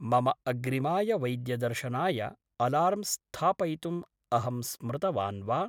मम अग्रिमाय वैद्यदर्शनाय अलार्म् स्थापयितुम् अहं स्मृतवान् वा?